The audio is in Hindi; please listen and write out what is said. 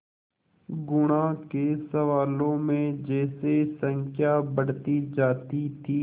गुणा के सवालों में जैसे संख्या बढ़ती जाती थी